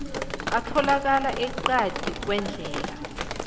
atholakala eqadi kwendlela